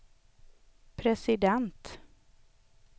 president